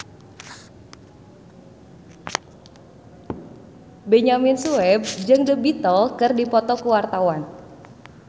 Benyamin Sueb jeung The Beatles keur dipoto ku wartawan